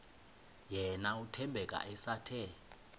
yena uthembeka esathe